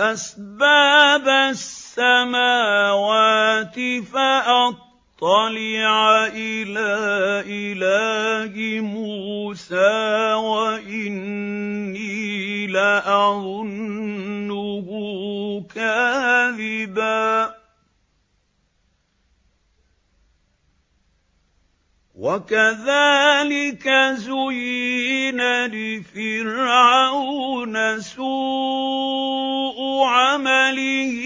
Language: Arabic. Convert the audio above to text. أَسْبَابَ السَّمَاوَاتِ فَأَطَّلِعَ إِلَىٰ إِلَٰهِ مُوسَىٰ وَإِنِّي لَأَظُنُّهُ كَاذِبًا ۚ وَكَذَٰلِكَ زُيِّنَ لِفِرْعَوْنَ سُوءُ عَمَلِهِ